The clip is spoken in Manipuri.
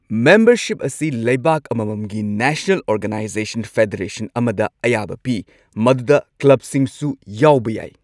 ꯃꯦꯝꯕꯔꯁꯤꯞ ꯑꯁꯤ ꯂꯩꯕꯥꯛ ꯑꯃꯃꯝꯒꯤ ꯅꯦꯁꯅꯦꯜ ꯑꯣꯔꯒꯅꯥꯢꯖꯦꯁꯟ ꯐꯦꯗꯔꯦꯁꯟ ꯑꯃꯗ ꯑꯌꯥꯕ ꯄꯤ ꯃꯗꯨꯗ ꯀ꯭ꯂꯕꯁꯤꯡꯁꯨ ꯌꯥꯎꯕ ꯌꯥꯢ꯫